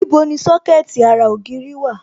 Níbo ni Sọ́kẹ̀tì ara ògiri dà?